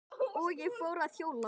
Og ég fór að hjóla.